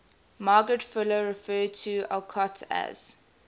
margaret fuller referred to alcott as